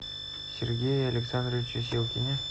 сергее александровиче силкине